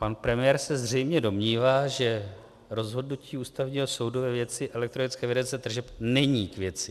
Pan premiér se zřejmě domnívá, že rozhodnutí Ústavního soudu ve věci elektronické evidence tržeb není k věci.